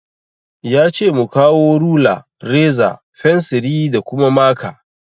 Yace mu kawo rula, reza, fensiri, da kuma maka